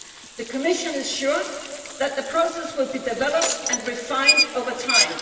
The Commission is sure that the process will be developed and refined over time.